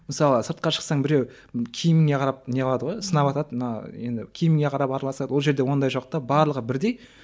мысалы сыртқа шықсаң біреу киіміңе қарап не қылады ғой сынаватады мына енді киіміңе қарап араласады ол жерде ондай жоқ та барлығы бірдей